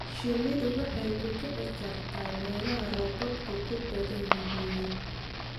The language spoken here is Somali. Shinnidu waxay ku kici kartaa meelaha roobabku ku badan yihiin.